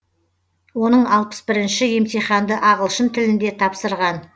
оның алпыс бірінші емтиханды ағылшын тілінде тапсырған